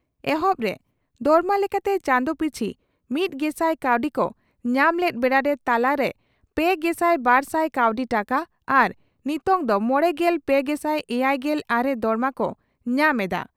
ᱮᱦᱚᱵ ᱨᱮ ᱫᱚᱨᱢᱟ ᱞᱮᱠᱟᱛᱮ ᱪᱟᱸᱫᱚ ᱯᱤᱪᱷᱤ ᱢᱤᱛᱜᱮᱥᱟᱭ ᱠᱟᱣᱰᱤ ᱠᱚ ᱧᱟᱢ ᱞᱮᱫ ᱵᱮᱲᱟᱨᱮ ᱛᱟᱞᱟ ᱨᱮ ᱯᱮᱜᱮᱥᱟᱭ ᱵᱟᱨᱥᱟᱭ ᱠᱟᱣᱰᱤ ᱴᱟᱠᱟ ᱟᱨ ᱱᱤᱛᱚᱝ ᱫᱚ ᱢᱚᱲᱮᱜᱮᱞ ᱯᱮ ᱜᱮᱥᱟᱭ ᱮᱭᱟᱭᱜᱮᱞ ᱟᱨᱮ ᱫᱚᱨᱢᱟ ᱠᱚ ᱧᱟᱢ ᱮᱫᱼᱟ ᱾